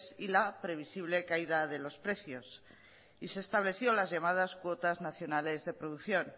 y la previsible caída de los precios y se estableció las llamadas cuotas nacionales de producción